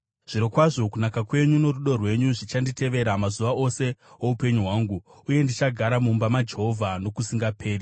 Zvirokwazvo kunaka kwenyu norudo rwenyu zvichanditevera, mazuva ose oupenyu hwangu, uye ndichagara mumba maJehovha nokusingaperi.